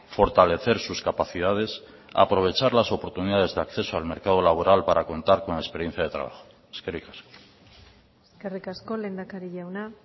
fortalecer sus capacidades aprovechar las oportunidades de acceso al mercado laboral para contar con experiencia de trabajo eskerrik asko eskerrik asko lehendakari jauna